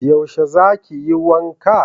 yaushe za ki yi wanka?